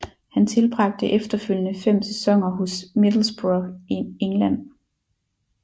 Han tilbragte efterfølgende fem sæsoner hos Middlesbrough i England